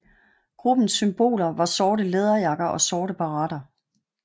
Gruppens symboler var sorte læderjakker og sorte baretter